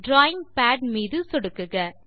drawing pad மீது சொடுக்குக